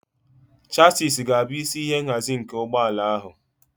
Chassisi ga-abụ isi ihe nhazi nke ụgbọ ala ahụ.